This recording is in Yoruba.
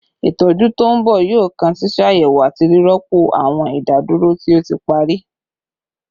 Itọju to nbọ yoo kan ṣiṣayẹwo ati rirọpo awọn idaduro ti o ti pari